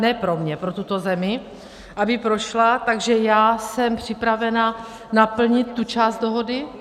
ne pro mě, pro tuto zemi, aby prošla, takže já jsem připravena naplnit tu část dohody.